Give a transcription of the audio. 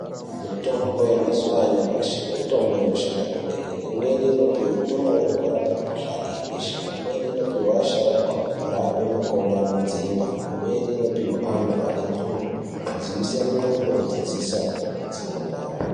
Mitombo yemazuwa anyamashi mitombo inoshanda kwemene. Imweni inopuhwe ndumure kurape mikhuhlani yebesha imweni inopuhwa asharukwa kurapa makodo anodzimba imweni inopihwa anhu ane ndxondo, kudziisa ndxondo kuti dzisadzimba.